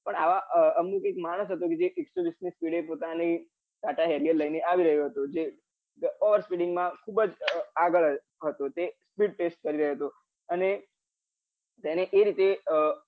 પણ આવા અમુક એક માણસ હતો કે જે એકસો વિસ ની speed એ પોતાની ટાટા હૈરિઅર લઈને આવી રહ્યો હતો જે પોતાની overspeeding માં ખુબજ આગળ હતો તે speed test કારીઓઓઓ રયો હતો અને તેને એ રીતે